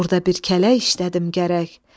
Burda bir kələk işlədim gərək.